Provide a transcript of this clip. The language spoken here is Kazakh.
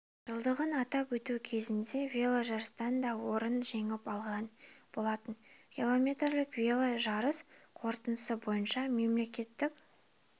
жылдығын атап өту кезінде веложарыстан да орынды жеңіп алған болатын километрлік веложарыс қорытындысы бойынша мемлекеттік